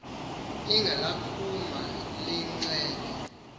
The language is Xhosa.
ilanga laphuma liyinxenye